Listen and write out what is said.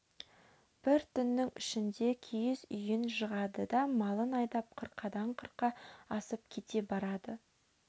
бір түннің ішінде киіз үйін жығады да малын айдап қырқадан қырқа асып кете барады